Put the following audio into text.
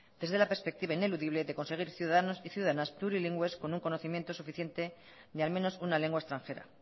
es de la perspectiva ineludible de conseguir ciudadanos y ciudadanas plurilingües con un conocimiento suficiente de al menos una lengua extranjera